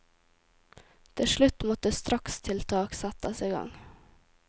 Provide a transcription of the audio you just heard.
Til slutt måtte strakstiltak settes i gang.